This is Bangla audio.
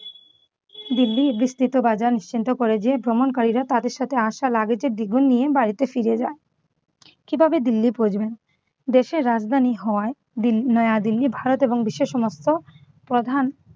দিল্লির বিস্তৃত বাজার নিশ্চিন্ত করে যে ভ্রমণকারীরা তাদের সাথে আশা luggege এর দ্বিগুণ নিয়ে বাড়িতে ফিরে যান । কিভাবে দিল্লি পৌঁছবেন? দেশের রাজধানী হওয়ায় দিল্লি নয়া দিল্লি ভারত এবং বিশ্বে সমস্ত প্রধান